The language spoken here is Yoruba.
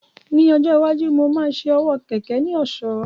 Ní ọjọ́ iwájú, mo máa ṣe owó kẹ̀kẹ́ ní ọ̀ṣọ́